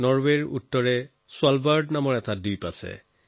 নৰৱেৰ উত্তৰত স্ফালবাৰ্ড নামে এটা দ্বীপ আছে